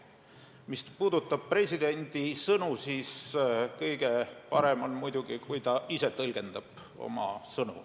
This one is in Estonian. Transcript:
Mis puudutab presidendi sõnu, siis kõige parem on muidugi, kui ta ise oma sõnu tõlgendab.